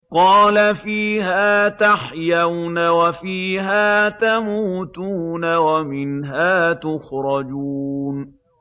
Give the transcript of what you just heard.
قَالَ فِيهَا تَحْيَوْنَ وَفِيهَا تَمُوتُونَ وَمِنْهَا تُخْرَجُونَ